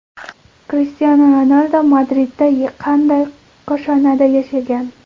Krishtianu Ronaldu Madridda qanday koshonada yashagan?